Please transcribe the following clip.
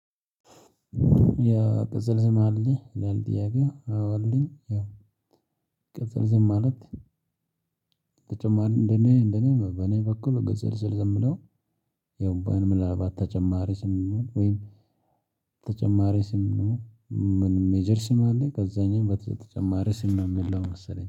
ያ ቅጽል ዝም አለ ይላል ጥያቄዊ አዎ አለኝ ያው ቅጽል ዝም ማለት። ተጨማሪ እንደኔ እንደኔ በኔ በኩል ቅጸል ስም የሚለው ምናልባት በተጨማሪ ስም ወይም ተጨማሪ ስም ነው። ምን ሜጀር ስም አለ ከዛኝም በተጨማሪ ስም ነው የሚለው መሰለኝ